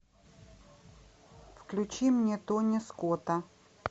включи мне тони скотта